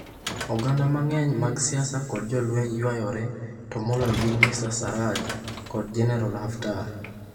Oganda mang'eny mag siasa kod jolweny ywayore to moloyo gin Mr. Sarraj kod Jenerol Haftar.